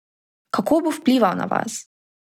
Kako bo vplival na vas?